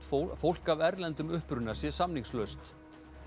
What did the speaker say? fólk fólk af erlendum uppruna sé samningslaust